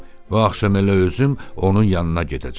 Bu axşam elə özüm onun yanına gedəcəm.